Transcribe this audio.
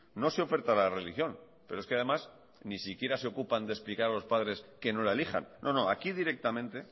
no se oferta la religión pero es que además ni siquiera se ocupan de explicar a los padres que no la elijan no no aquí directamente